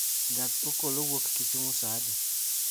gach okolo wuok kisumu saa adi?